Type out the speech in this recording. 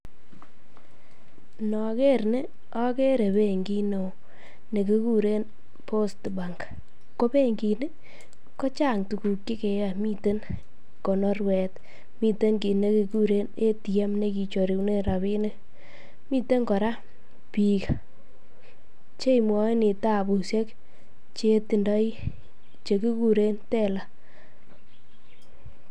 Noker nii okere benkit neoo nekikuren post bank, ko benkini kochang tukuk chekeyoe, miten konorwet, miten kiit nekekuren ATM nekicherunen rabinik, niten kora biik chemwoini tabushek chetindoi chekikuren teller.